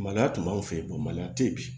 Maloya tun b'anw fɛ yen maloya tɛ yen bi